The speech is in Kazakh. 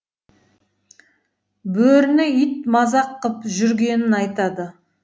бөріні ит мазақ қып жүргенін айтады